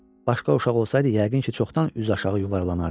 Başqa uşaq olsaydı, yəqin ki, çoxdan üzü aşağı yuvarlanardı.